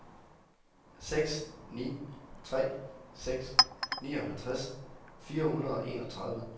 seks ni tre seks nioghalvtreds fire hundrede og enogtredive